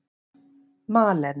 Malen